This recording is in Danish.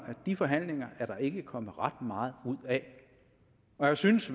de forhandlinger er der ikke kommet ret meget ud af og jeg synes